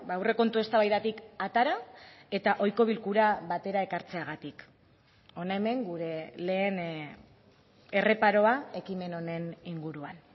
aurrekontu eztabaidatik atera eta ohiko bilkura batera ekartzeagatik hona hemen gure lehen erreparoa ekimen honen inguruan